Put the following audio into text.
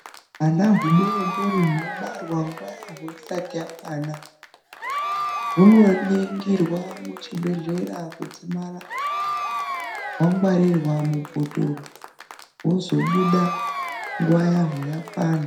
Hwana hudodori hunobarwa nguwa yaho isati yakwana hunoningirwa muchibhehlera kudzimara hwangwarirwa mubhotoro hozobuda nguwa yaho yakwana .